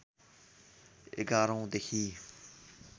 ११ औं देखि